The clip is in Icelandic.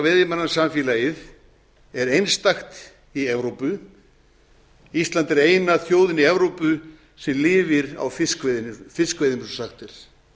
veiðimannasamfélagið er einstakt í evrópu ísland er eina þjóðin í evrópu sem lifir á fiskveiðum eins og sagt er